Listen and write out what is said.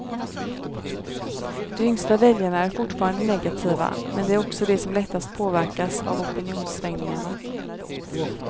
De yngsta väljarna är fortfarande negativa, men de är också de som lättast påverkas av opinionssvängningarna.